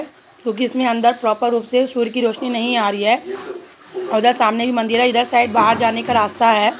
क्युकी प्रॉपर रूप से सूर्ये की रोशनी नहीं आ रही है और इधर सामने भी मंदिर है इधर साइड बाहर जाने का रास्ता है।